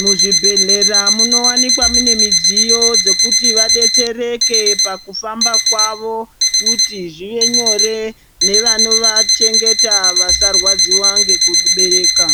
mu zvibhedhlera muno wanikwa mune midziyo dzekuti va detsereke pa kufamba kwavo kuti zvive nyore nevano vachengeta vasa rwadziwa neku chengeta.